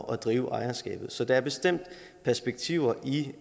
drive ejerskabet så der er bestemt perspektiver i